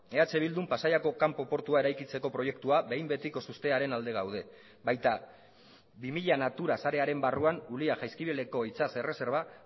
eh bildun pasaiako kanpo portua eraikitzeko proiektua behin betikoz uztearen alde gaude baita bi mila natura sarearen barruan ulia jaizkibeleko itsas erreserba